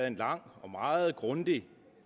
en lang og meget grundig